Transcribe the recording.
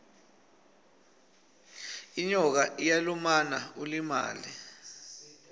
inyoka iyalumana ulimale